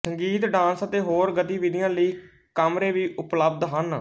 ਸੰਗੀਤ ਡਾਂਸ ਅਤੇ ਹੋਰ ਗਤੀਵਿਧੀਆਂ ਲਈ ਕਮਰੇ ਵੀ ਉਪਲਬਧ ਹਨ